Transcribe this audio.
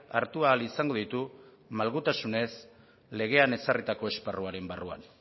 hartu ahal izango ditu malgutasunez legean ezarritako esparruaren barruan